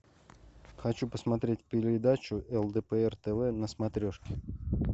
хочу посмотреть передачу лдпр тв на смотрешке